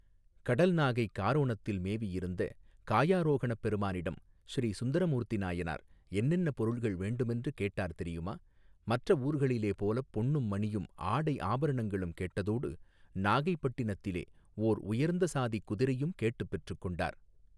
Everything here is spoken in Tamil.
கடல் நாகை காரோணத்தில் மேவியிருந்த காயாரோகணப் பெருமானிடம் ஸ்ரீ சுந்தர மூர்த்தி நாயனார் என்னென்ன பொருள்கள் வேண்டுமென்று கேட்டார் தெரியுமா மற்ற ஊர்களிலே போலப் பொன்னும் மணியும் ஆடை ஆபரணங்களும் கேட்டதோடு நாகைப்பட்டினத்திலே ஓர் உயர்ந்த சாதிக் குதிரையும் கேட்டுப் பெற்றுக் கொண்டார்.